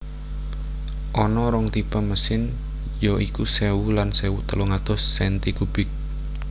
Ana rong tipe mesin ya iku sewu lan sewu telung atus senti kubik